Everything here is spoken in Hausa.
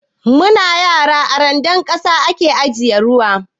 Mu na yara, a randar ƙasa a ke ajiye ruwa.